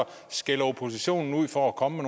skælder oppositionen ud for at komme